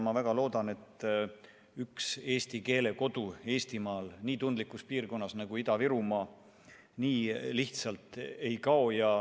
Ma väga loodan, et üks eesti keele kodu Eestimaal, nii tundlikus piirkonnas nagu Ida-Virumaa, nii lihtsalt ei kao.